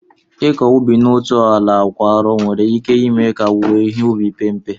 Ịkọ ubi n'otu ala kwa arọ nwere ike ime ka owuwe ihe ubi pee mpe